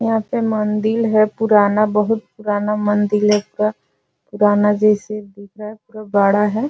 यहाँ पे मंदिर है पुराना बहुत पुराना मंदिर जिसका पुराना जैसे दिख रहा है पूरा बड़ा है।